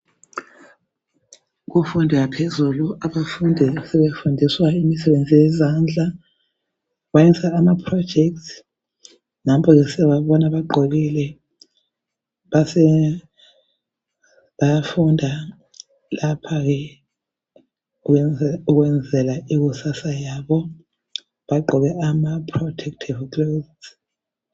Kumfundo yaphezulu abafundi sebefundiswa imisebenzi yezandla. Bayenza ama projects. Nampa siyababona bagqokile, bayafunda lapha ukwenzela ikusasa yabo. Bagqoke ama protecive clothes.